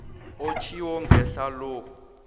otjhiwo ngehla lo